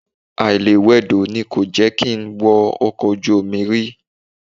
Àìlewẹdò ni kò jẹ́ kí n wọ ọkọ̀ ojú omi rí